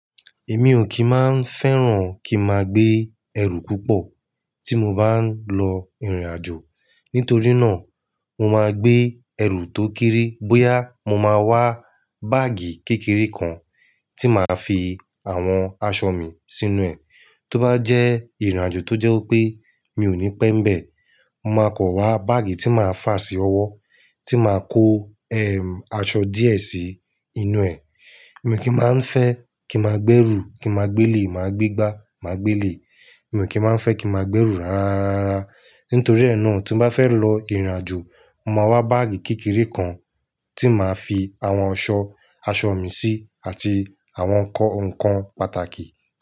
Èmi ò kí máa ń fẹ́ràn kí n máa gbé ẹrù púpọ̀ tí mo bá ń lọ ìrìnàjò. Nítorí náà, mo máa gbé ẹrù tó kéré bóyá mo máa wá báàgì kékeré kan tí màá fi àwọn aṣọ mi sínú ẹ̀. Tó bá jẹ́ ìrìnàjò tó jẹ́ pé mi ò ní pẹ́ mbẹ̀, mo máa kọ wá báàgì tí màá fà sí ọwọ́ tí màá kó ẹ̀ aṣọ díẹ̀ sí inú ẹ̀. Èmi kì í má ń fẹ́ kí a máa gbé ẹrù kí a máa gbé le, máa gbé gbá, máa gbé le. Èmi kì í má ń fẹ́ kí a máa gbé ẹrù rárá, rárá, rárá. Nítorí náà, tí mo bá fẹ́ lọ ìrìnàjò, mo máa wá báàgì kékeré kan tí màá fi àwọn aṣọ, aṣọ mi sí àti àwọn ǹkan pàtàkì.